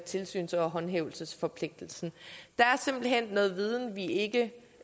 tilsyns og håndhævelsesforpligtelsen der er simpelt hen noget viden vi ikke